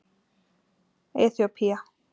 Eþíópía